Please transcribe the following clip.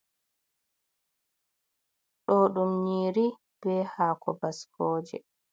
Ɗo ɗum yiri be hako baskoje.